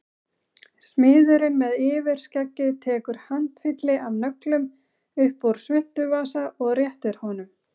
Smiðurinn með yfirskeggið tekur handfylli af nöglum upp úr svuntuvasa og réttir honum